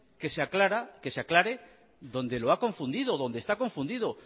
que se aclare donde lo ha confundido donde está confundido